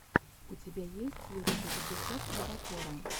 у тебя есть лучший эпизод крабокора